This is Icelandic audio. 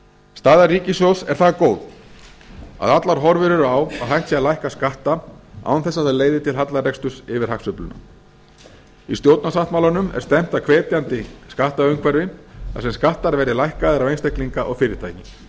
staða ríkissjóðs er það góð að allar horfur eru á að hægt sé að lækka skatta án þess að það leiði til hallareksturs yfir hagsveifluna í stjórnarsáttmálanum er stefnt að hvetjandi skattaumhverfi þar sem skattar verði lækkaðir á einstaklinga og fyrirtæki